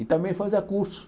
E também fazia cursos.